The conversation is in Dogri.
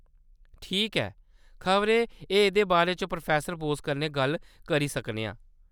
ठीक ऐ, खबरै अस एह्‌‌‌दे बारे च प्रोफेसर बोस कन्नै गल्ल करी सकने आं।